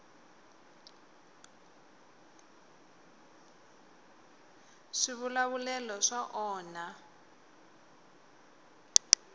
swivulavulero swa onha